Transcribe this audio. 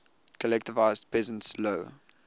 collectivized peasants low